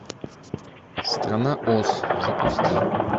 страна оз запусти